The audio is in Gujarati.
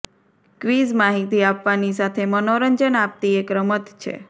ક્વિઝ માહિતી આપવાની સાથે મનોરંજન આપતી એક રમત છે